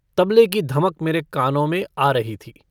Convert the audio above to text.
तबले की धमक मेरे कानों में आ रही थी।